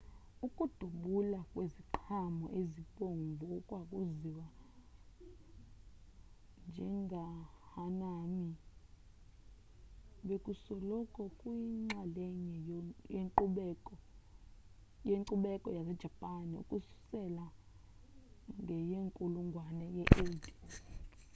ukudubula kweziqhamo ezibomvu okwaziwa njengehanami bekusoloko kuyinxalenye yenkcubeko yasejapan ukususela ngenkulungwane ye-8